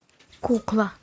кукла